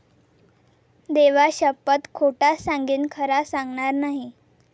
देवा शप्पथ खोटा सांगेन खरा सांगणार नाही